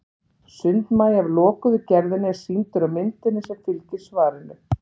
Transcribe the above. sundmagi af lokuðu gerðinni er sýndur á myndinni sem fylgir svarinu